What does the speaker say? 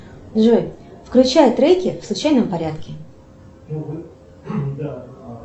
джой включай треки в случайном порядке